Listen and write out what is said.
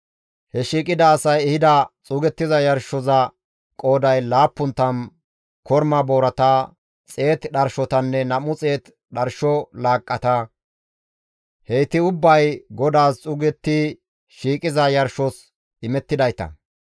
He shiiqida asay ehida xuugettiza yarshoza qooday 70 korma boorata, 100 dharshotanne 200 dharsho laaqqata; heyti ubbay GODAAS xuugetti shiiqiza yarshos imettidayta.